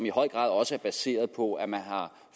i høj grad også er baseret på at man har